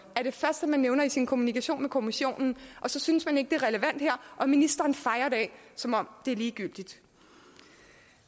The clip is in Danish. er det første nævner i sin kommunikation med kommissionen og så synes man ikke det er relevant her og ministeren fejer det af som om det er ligegyldigt